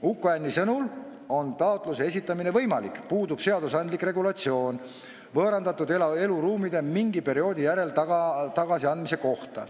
Uku Hänni sõnul on taotluse esitamine võimalik, puudub seadusandlik regulatsioon võõrandatud eluruumide mingi perioodi järel tagasiandmise kohta.